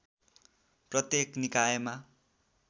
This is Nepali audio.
प्रत्येक निकायमा